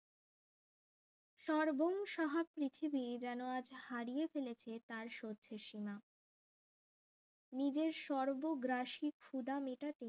সর্বং সাহা পৃথিবী যেন আজ হারিয়ে ফেলেছে তার শক্তি সীমা নিজের সর্ব গ্রাশি ক্ষুধা মেটাতে